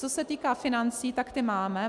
Co se týká financí, tak ty máme.